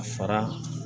A fara